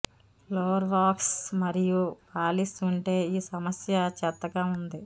floor wax మరియు polish ఉంటే ఈ సమస్య చెత్తగా ఉంది